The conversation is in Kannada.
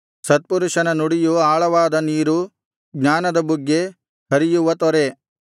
ಸತ್ಪುರುಷನ ನುಡಿಯು ಆಳವಾದ ನೀರು ಜ್ಞಾನದ ಬುಗ್ಗೆ ಹರಿಯುವ ತೊರೆ